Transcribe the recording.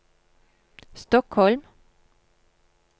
Stockholm